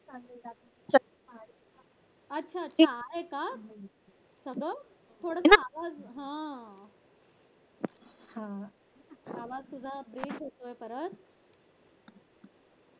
अच्छा अच्छा आहे का अग थोडं साधंच हा आवाज तुझा break होतोय परत